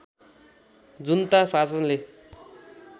जुन्ता शासनले